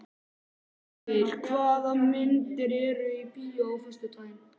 Gunngeir, hvaða myndir eru í bíó á föstudaginn?